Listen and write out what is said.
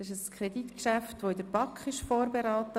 Es handelt sich um ein in der BaK vorberatenes Kreditgeschäft.